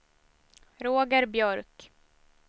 Roger Björk